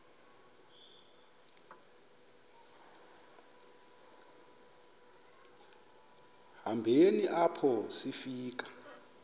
hambeni apho sifika